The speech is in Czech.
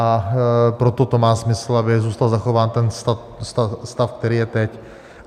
A proto to má smysl, aby zůstal zachován ten stav, který je teď.